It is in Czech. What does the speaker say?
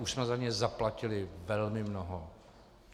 Už jsme za ně zaplatili velmi mnoho.